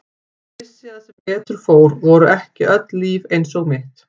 Ég vissi að sem betur fór voru ekki öll líf eins og mitt.